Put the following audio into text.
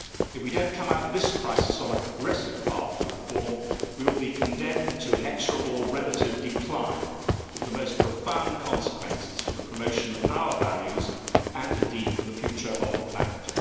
If we do not come out of this crisis on a progressive path to reform, we will be condemned to inexorable relative decline with the most profound consequences for the promotion of our values and, indeed, for the future of the planet.